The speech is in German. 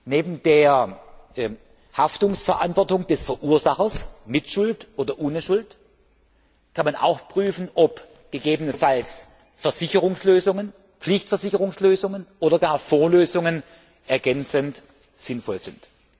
Neben der Haftungsverantwortung des Verursachers mit oder ohne Schuld kann man auch prüfen, ob gegebenenfalls Versicherungslösungen, Pflichtversicherungslösungen oder gar Vorlösungen ergänzend sinnvoll sind.